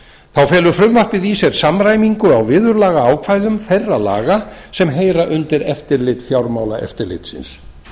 þá felur frumvarpið í sér samræmingu á viðurlagaákvæðum þeirra laga sem heyra undir eftirlit fjármálaeftirlitsins